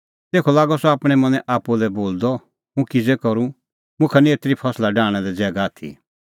तेखअ लागअ सह आपणैं मनैं आप्पू लै बोलदअ हुंह किज़ै करूं मुखा निं एतरी फसला डाहणां लै ज़ैगा आथी